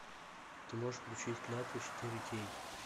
ты можешь включить клятву четыре кей